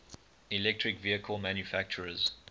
electric vehicle manufacturers